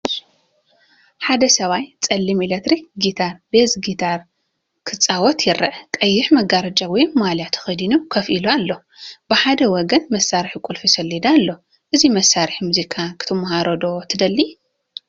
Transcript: ሓደ ሰብኣይ ጸሊም ኤሌክትሪክ ጊታር (ቤዝ ጊታር) ክጻወት ይርአ። ቀይሕ መጋረጃ ወይ ማልያ ተኸዲኑ ኮፍ ኢሉ ኣሎ። ብሓደ ወገን መሳርሒ ቁልፊ ሰሌዳ ኣሎ። ነዚ መሳርሒ ሙዚቃ ክትመሃሮ ዶ ትደሊ?